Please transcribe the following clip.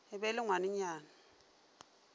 e be e le ngwanenyana